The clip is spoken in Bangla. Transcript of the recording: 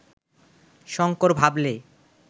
শঙ্কর ভাবলে